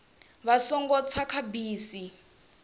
vha songo tsa kha bisi